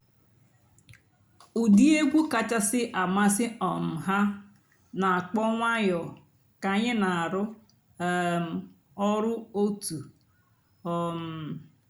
ụ́dị́ ègwú kàchàsị́ àmásị́ um há nà-àkpọ́ ǹwànyọ́ kà ànyị́ nà-àrụ́ um ọ̀rụ́ ótú. um